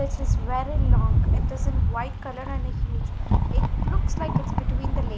this is very long it is in white colour and a huge it looks like its between the le --